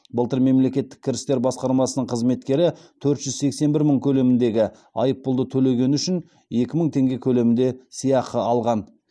былтыр мемлекеттік кірістер басқармасының қызметкері төрт жүз сексен бір мың көлеміндегі айыппұлды төлегені үшін екі мың тенге көлемінде сыйақы алған